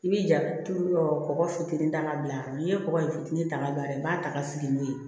I bi ja turu yɔrɔ kɔgɔ fitinin ta ka bila n'i ye kɔgɔ in fitinin ta ka don a la i b'a ta ka fili n'o ye